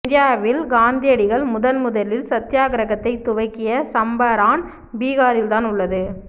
இந்தியாவில் காந்தியடிகள் முதன் முதலில் சத்யாகிரகத்தைதுவக்கிய சம்பராண் பீகாரில் தான் உள்ளது